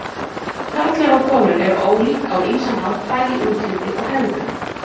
Karlar og konur eru ólík á ýmsan hátt, bæði í útliti og hegðun.